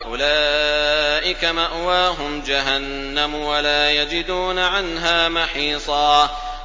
أُولَٰئِكَ مَأْوَاهُمْ جَهَنَّمُ وَلَا يَجِدُونَ عَنْهَا مَحِيصًا